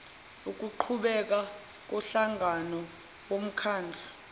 ukuqhubeka komhlangano womkhandlu